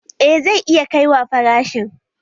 Eh zai iya kaiwa farashin